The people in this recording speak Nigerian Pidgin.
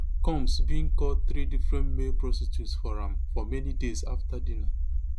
combs bin call three different male prostitutes for am for many days afta dinner